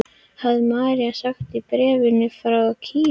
hafði Mary sagt í bréfi frá Kína.